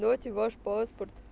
дайте ваш поспорт